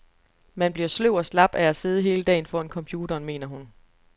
Man bliver sløv og slap af at sidde hele dagen foran computeren, mener hun.